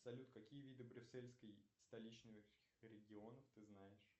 салют какие виды брюссельской столичных регионов ты знаешь